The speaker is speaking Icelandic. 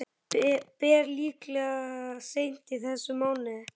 Ber líklega seint í þessum mánuði.